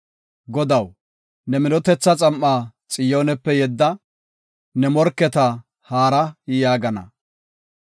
Godaw ne minotetha xam7a Xiyoonepe yedda; “Ne morketa haara” yaagana.